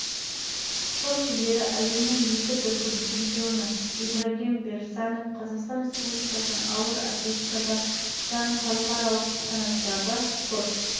рио-де-жанейрода өткен жазғы олимпиада ойындарының күміс жүлдегері раушан қойшыбаева қазақстан республикасының ауыр атлетикадан халықаралық санаттағы